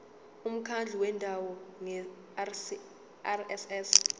umkhandlu wendawo ngerss